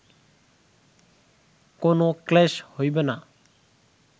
কোন ক্লেশ হইবে না